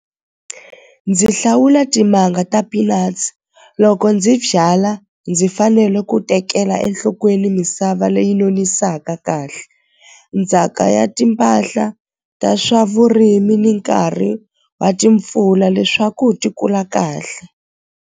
Ndzi hlawula timanga ta peanuts loko ndzi byala ndzi fanele ku tekela enhlokweni misava leyi nonisaka kahle ndzhaka ya timpahla ta swa vurimi ni nkarhi wa timpfula leswaku ti kula kahle.